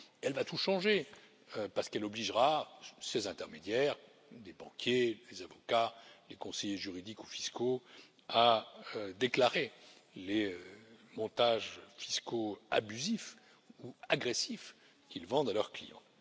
Elle va tout changer parce qu'elle obligera ces intermédiaires des banquiers, des avocats, des conseillers juridiques ou fiscaux à déclarer les montages fiscaux abusifs ou agressifs qu'ils vendent à leurs clients.